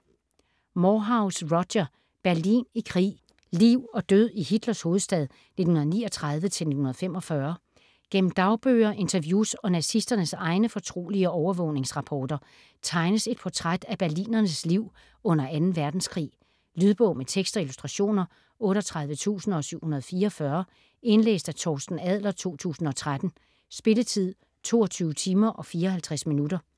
94.41 Moorhouse, Roger: Berlin i krig: liv og død i Hitlers hovedstad 1939-1945 Gennem dagbøger, interviews og nazisternes egne fortrolige overvågningsrapporter tegnes et portræt af berlinernes liv under 2. verdenskrig. Lydbog med tekst og illustrationer 38744 Indlæst af Torsten Adler, 2013. Spilletid: 22 timer, 54 minutter.